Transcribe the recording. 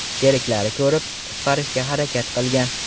Sheriklari ko‘rib, qutqarishga harakat qilgan.